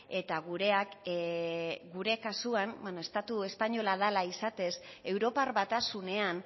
eta gureak gure kasuan estatu espainola dela izatez europar batasunean